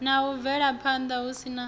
na u bvelaphanda hu si